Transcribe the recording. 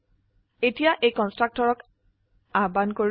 এতিয়া এই কন্সট্ৰাকটৰক আহ্বান কৰো